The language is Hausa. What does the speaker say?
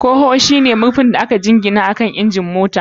Kaho ko bonnet shine murfin da aka jingina akan injin motocin.